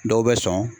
Dɔw bɛ sɔn